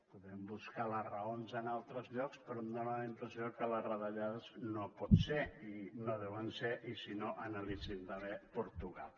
podem buscar les raons en altres llocs però em dona la impressió que les retallades no poden ser i no ho deuen ser i si no analitzin també portugal